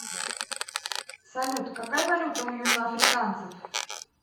салют какая валюта у южноафриканцев